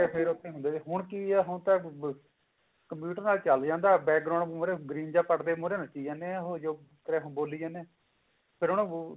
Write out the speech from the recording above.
ਹੁੰਦੇ ਨੇ ਹੁਣ ਕੀ ਆ ਹੁਣ ਤਾਂ computer ਨਾਲ ਚਲਦੀ ਹੁਣ ਤਾਂ back ground ਮੁਹਰੇ green ਜਾ ਪੜਦੇ ਮੁਹਰੇ ਨੱਚੀ ਜਾਨੇ ਆ ਉਹ ਮੁਹਰੇ ਬੋਲੀ ਜਾਂਦੇ ਆ ਪਰ ਉਹਨੂੰ